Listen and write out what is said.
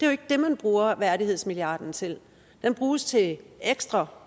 jo ikke det man bruger værdighedsmilliarden til den bruges til ekstra